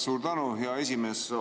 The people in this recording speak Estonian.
Suur tänu, hea esimees!